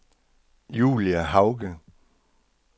Julie Hauge